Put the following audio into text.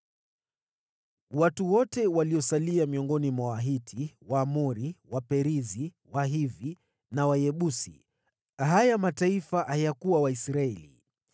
Watu wote waliosalia kutoka kwa Wahiti, Waamori, Waperizi, Wahivi na Wayebusi (haya mataifa hayakuwa Waisraeli),